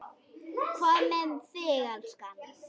Hvað með þig, elskan.